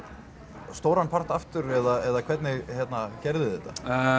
stóran part aftur eða hvernig gerðuð þið þetta